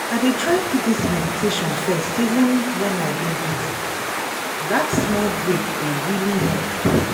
i dey try put this meditation firsteven when i dey busy- that small break dey really help.